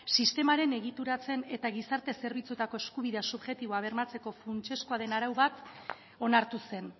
sistemaren egituratze eta gizarte zerbitzuetako eskubidea subjektiboa bermatzeko funtsezkoa den arau bat onartu zen